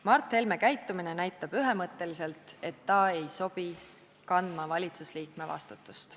Mart Helme käitumine näitab ühemõtteliselt, et ta ei sobi kandma valitsusliikme vastutust.